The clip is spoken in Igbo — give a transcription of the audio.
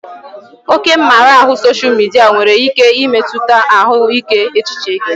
Oke mmara ahụ sosha midia nwere ike imetụta ahụike echiche gị